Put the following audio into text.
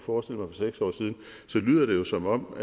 år siden så lyder det jo som om